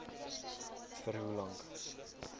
vir hoe lank